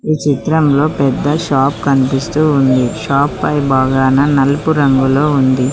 చిత్రంలో పెద్ద షాప్ కనిపిస్తూ ఉంది షాప్ పై బాగాన నలుపు రంగులో ఉంది.